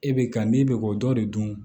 E bɛ ka n'i bɛ k'o dɔ de dun